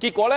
結果，